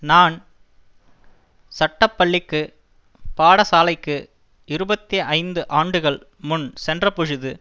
நான் சட்டப்பள்ளிக்கு பாடசாலைக்கு இருபத்தி ஐந்து ஆண்டுகள் முன் சென்றபொழுது